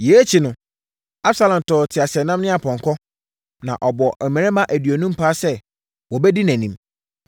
Yei akyi no, Absalom tɔɔ teaseɛnam ne apɔnkɔ, na ɔbɔɔ mmarima aduonum paa sɛ wɔbɛdi nʼanim.